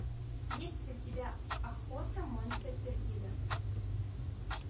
есть ли у тебя охота монте пердидо